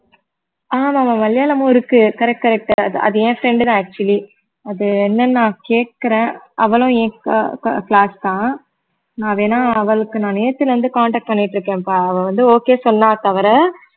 ஆமா ஆமா ஆமா மலையாளமும் இருக்கு correct correct அது என் friend தான் actually அது என்னன்னு நான் கேட்கிறேன் அவளும் என் க~ க~ class தான் நான் வேணா அவளுக்கு நான் நேத்துல இருந்து contact பண்ணிட்டிருக்கேன்ப்பா அவ வந்து okay சொன்னா தவிர